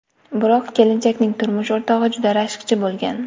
Biroq, kelinchakning turmush o‘rtog‘i juda rashkchi bo‘lgan.